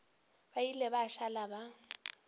ba ile ba šala ba